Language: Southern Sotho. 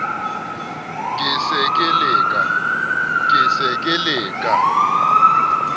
ke se ke le ka